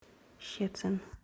щецин